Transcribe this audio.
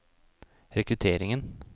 rekrutteringen